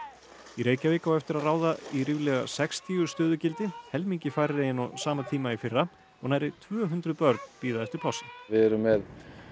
í Reykjavík á eftir að ráða í ríflega sextíu stöðugildi helmingi færri en á sama tíma í fyrra og nærri tvö hundruð börn bíða eftir plássi við erum með